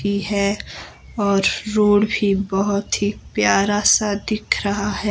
की है और रोड भी बहुत ही प्यारा सा दिख रहा है।